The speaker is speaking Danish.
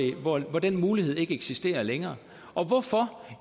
hvor den mulighed ikke eksisterer længere og hvorfor